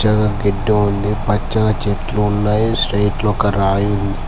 ఇక్కడ గడ్డి ఉంది పచ్చని చెట్లు ఉన్నాయి స్ట్రైట్ గా ఒక రాయి ఉంది.